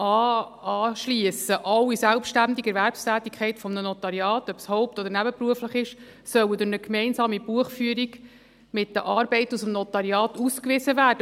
Alle selbstständige Erwerbstätigkeit eines Notariats, ob es haupt- oder nebenberuflich ist, soll durch eine gemeinsame Buchführung mit den Arbeiten aus dem Notariat ausgewiesen werden.